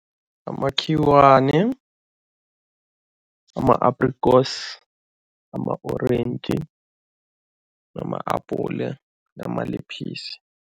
Amakhiwane, ama-aprikosi, ama-orentji, ama-apule nama